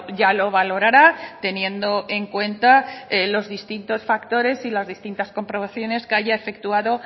ya lo valorará teniendo en cuenta los distintos factores y las distintas comprobaciones que haya efectuado